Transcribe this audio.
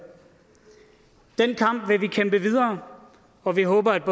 den kamp vil vi kæmpe videre og vi håber at